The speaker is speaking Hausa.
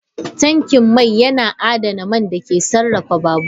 Tankin mai yana adana man da ke sarrafa babur.